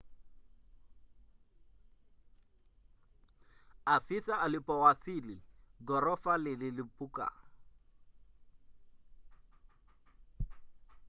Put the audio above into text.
afisa alipowasili ghorofa ililipuka